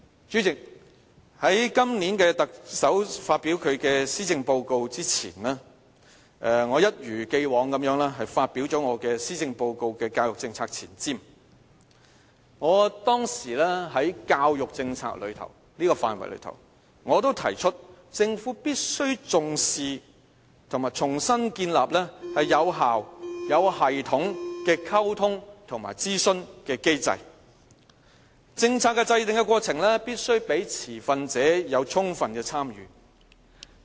主席，在特首發表今年的施政報告前，我一如既往發表了我的施政報告教育政策前瞻，我當時在教育政策範圍中提出政府必須重視和重新建立有效、有系統的溝通和諮詢的機制，政策的制訂過程必須讓持份者有充分的參與。